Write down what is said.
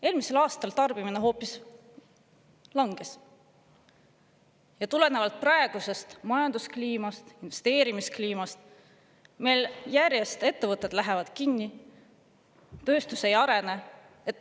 Eelmisel aastal tarbimine hoopis langes ja tulenevalt praegusest majanduskliimast, investeerimiskliimast meil järjest ettevõtted lähevad kinni, tööstus ei arene.